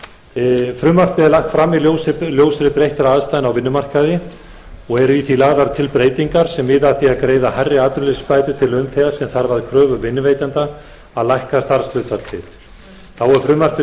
frumvarpið er lagt fram í ljósi breyttra aðstæðna á vinnumarkaði og eru í því lagðar til breytingar sem miða að því að greiða hærri atvinnuleysisbætur til launþega sem þarf að kröfu vinnuveitanda að lækka starfshlutfall sitt þá er frumvarpinu